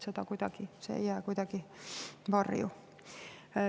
See ei jää kuidagi varju.